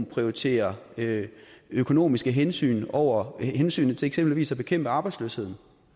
prioriterer økonomiske hensyn over hensynet til eksempelvis at bekæmpe arbejdsløsheden